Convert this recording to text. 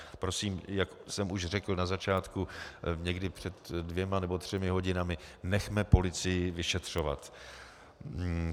Prosím, jak jsem už řekl na začátku, někdy před dvěma nebo třemi hodinami, nechme policii vyšetřovat.